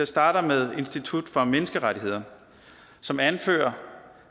starte med institut for menneskerettigheder som anfører